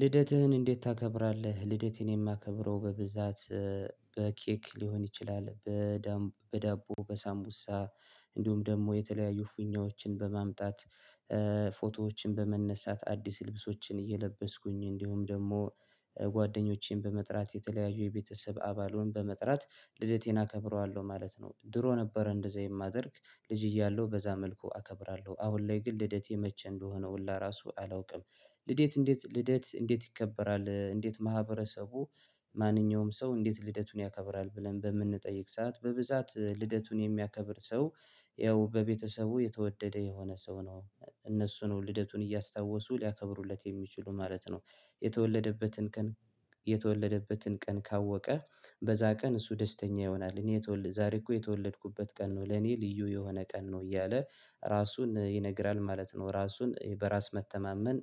ልደትህን እንዴት ታከብራለህ? ልደቴን የማከብረው በብዛት በኬክ ሊሆን ይችላል። በዳቦ በሳሙቡሳ እንዲሁም ደግሞ የተለያዩ ፊኛዎችን በማምጣት። ፎቶዎችን በመነሳት አዲስ ልብሶችን እየለበስኩኝ እንዲሁም ደግሞ ጓደኞቼን በመጥራት የተለያዩ የቤተሰብ አባሉን በመጥራት ልደቴን አከብረዋለሁ ማለት ነው። ድሮ ነበር እንደዚህ የማደርግ ልጅ እያለሁ በዛ መልኩ አከብራለሁ አሁን ላይ ግን ልደቴ መቼ እንደሆነ ሁላ ራሱ አላውቅም። ልደት እንዴት ልደት እንዴት ይከበራል እንዴት ማህበረሰቡ? ማንኛውም ሰው እንዴት ልደቱን ያከብራል ብለን በምንጠይቅ ሰዓት በብዛት ልደቱን የሚያከብር ሰው ያው በቤተሰቡ የተወደደ የሆነ ሰው ነው። እነሱ ነው ልደቱን እያስታወሱ ሊያከብሩለት የሚችሉ ማለት ነው። የተወለደበትን ቀን ካወቀ በዛ ቀን እሱ ደስተኛ ይሆናል። እኔ የተወለድኩ ዛሬ እኮ የተወለድኩበት ቀን ነው ለኔ ልዩ የሆነ ቀን ነው እያለ ራሱን ይነግራል ማለት ነው። ራሱን በራስ መተማመን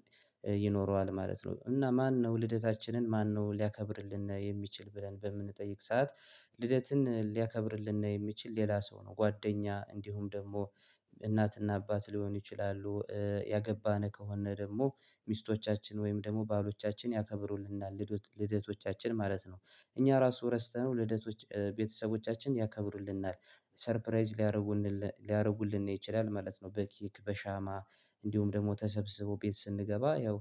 ይኖረዋል ማለት ነው። እና ማነው ልደታችንን ማነው ሊያከብርልን የሚችል ብለን በምንጠይቅ ሰዓት? ልደትን ሊያከብርልን የሚችል ሌላ ሰው ነው ጓደኛ እንዲሁም ደግሞ እናትና አባት ሊሆን ይችላሉ። ያገባነ ከሆነ ደግሞ ሚስቶቻችን ወይም ደግሞ ባሎቻችን ያከብሩልናል ልደቶቻችን ማለት ነው። እኛ ራሱ ረስተነው ልደቶች ቤተሰቦቻችን ያከብሩልናል። ሰርፕራይዝ ሊያደርጉልን ይችላል ማለት ነው። በኬክ በሻማ እንዲሁም ደግሞ ተሰብስቦ ቤት ስንገባ ያው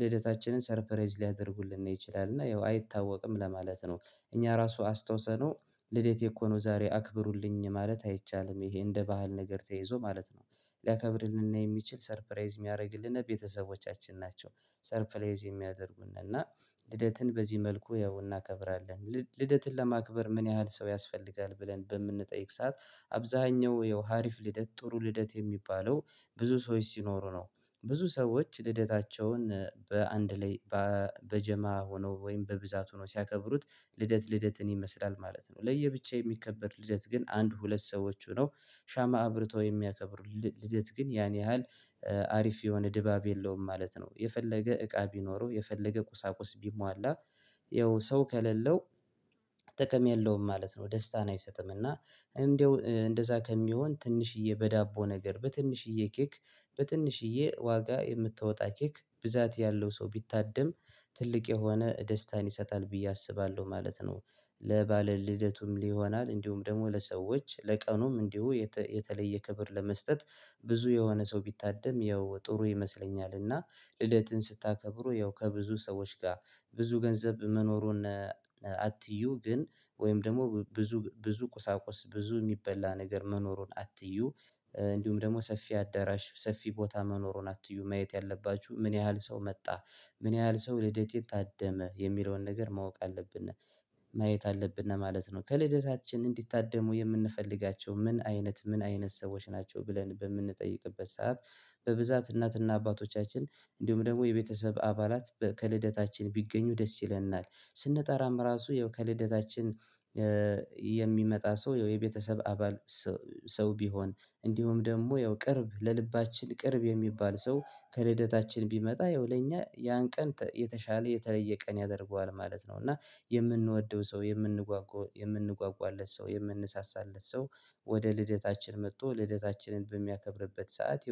ልደታችንን ሰርፕራይዝ ሊያደርጉልን ይችላል እና ያው አይታወቅም ለማለት ነው። እኛ ራሱ አስታውሰነው ልዴቴ እኮ ነው ዛሬ አክብሩልኝ ማለት አይቻልም ይሄ እንደ ባህል ነገር ተይዞ ማለት ነው። ሊያከብርልነ የሚችል ሰርፕራይዝ የሚያደርግልን ቤተሰቦቻችን ናቸው። ሰርፕራይዝ የሚያደርጉን እና ልደትን በዚህ መልኩ ያው እናከብራለን። ልደትን ለማክበር ምን ያህል ሰው ያስፈልጋል? ብለን በምንጠይቅ ሰዓት አብዛኛው ያው አሪፍ ልደት ጥሩ ልደት የሚባለው ብዙ ሰዎች ሲኖሩ ነው። ብዙ ሰዎች ልደታቸውን በአንድ ላይ በጀማ ሆኖ ወይም በብዛት ሆኖ ሲያከብሩት ልደት ልደትን ይመስላል። ማለት ነው ለየብቻ የሚከበር ልደት ግን አንድ ሁለት ሰዎች ሁነው ሻማ አብርቶ የሚያከብሩ ልደት ግን ያን ያህል አሪፍ የሆነ ድባብ የለውም ማለት ነው። የፈለገ እቃ ቢኖረው የፈለገ ቁሳቁስ ቢሟላ ያው ሰው ከሌለው። ጥቅም ያለውም ማለት ነው ደስታን አይሰጥም እና እንደው እንደዛ ከሚሆን ትንሽዬ በዳቦ ነገር በትንሽዬ ኬክ በትንሽዬ ዋጋ የምታወጣ ኬክ ብዛት ያለው ሰው ቢታደም ትልቅ የሆነ ደስታን ይሰጣል ብዬ አስባለሁ ማለት ነው። ለባለ ልደቱም ሊሆናል እንዲሁም ደግሞ ለሰዎች ለቀኑም እንዲሁ የተለየ ክብር ለመስጠት ብዙ የሆነ ሰው ቢታደም ያው ጥሩ ይመስለኛል። እና ልደትን ስታከብሩ ያው ከብዙ ሰዎች ጋር ብዙ ገንዘብ መኖሩን አትዩ ግን ወይም ደግሞ ብዙ ብዙ ቁሳቁስ ብዙ የሚበላ ነገር መኖሩን አትዩ እንዲሁም ደግሞ ሰፊ አዳራሽ ሰፊ ቦታ መኖሩን አትዩ ማየት ያለባችሁ ምን ያህል ሰው መጣ ምን ያህል ሰው ልደቴን የታደመ የሚለውን ነገር ማወቅ አለብን። ማየት አለብን ማለት ነው። ከልደታችን እንዲታደሙ የምንፈልጋቸው ምን አይነት ምን አይነት ሰዎች ናቸው ብለን በምንጠይቅበት ሰዓት? በብዛት እናት እና አባቶቻችን እንዲሁም ደግሞ የቤተሰብ አባላት ከልደታችን ቢገኙ ደስ ይለናል። ስንጠራም ራሱ ያው ከልደታችን። የሚመጣ ሰው ያው የቤተሰብ አባል። ሰው ቢሆን እንዲሁም ደግሞ ያው ቅርብ ለልባችን ቅርብ የሚባል ሰው ከልደታችን ቢመጣ ያው ለኛ ያን ቀን የተሻለ የተለየ ቀን ያደርገዋል ማለት ነው። እና የምንወደው ሰው የምንጓጓለት ሰው የምንሳሳለት ሰው ወደ ልደታችን መጥቶ ልደታችንን በሚያከብርበት ሰዓት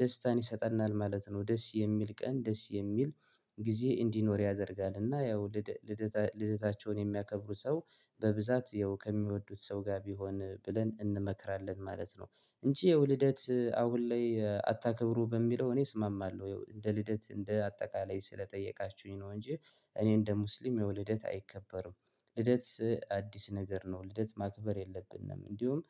ደስታን ይሰጠናል ማለት ነው። ደስ የሚል ቀን ደስ የሚል ጊዜ እንዲኖር ያደርጋል። እና ያው ልደታቸውን የሚያከብሩ ሰው በብዛት ያው ከሚወዱት ሰው ጋር ቢሆን ብለን እንመክራለን ማለት ነው። እንጂ ያው ልደት አሁን ላይ አታክብሩ በሚለው እኔ እስማማለሁ እንደ ልደት እንደ አጠቃላይ ስለጠየቃችሁኝ ነው። እንጂ እኔ እንደ ሙስሊም ያው ልደት አይከበርም። ልደት አዲስ ነገር ነው ልደት ማክበር የለብንም። እንዲሁም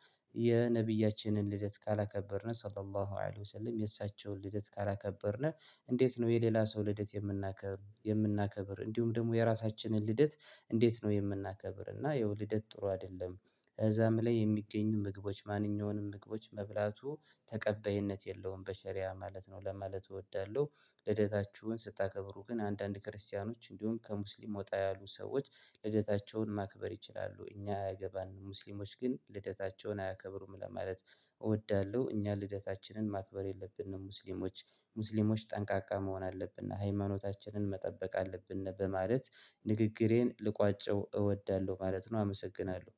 የነብያችንን ልደት ካላከበርነው ሰላላሁ ወአሊሁ ሰሊም የእሳቸውን ልደት ካላከበርን። እንዴት ነው የሌላ ሰው ልደት የምናከብር የምናከብር እንዲሁም ደግሞ የራሳችንን ልደት። እንዴት ነው የምናከብር? እና ያው ልደት ጥሩ አይደለም። ከዛም ላይ የሚገኙ ምግቦች ማንኛውንም ምግቦች መብላቱ ተቀበይነት የለውም በሸሪያ ማለት ነው። ለማለት እወዳለሁ። ልደታችሁን ስታከብሩ ግን አንዳንድ ክርስቲያኖች እንደሁም ከሙስሊም ወጣ ያሉ ሰዎች ልደታቸውን ግን ልደታቸውን አያከብሩም ለማለት። እወዳለሁ። እኛ ልደታችንን ማክበር የለብንም። ሙስሊሞች፣ ሙስሊሞች ጠንቃቃ መሆን አለብንን። ሃይማኖታችንን መጠበቅ አለብን በማለት ንግግሬን ልቋጨው እወዳለሁ ማለት ነው። አመሰግናለሁ።